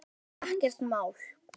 Þetta var bara ekkert mál.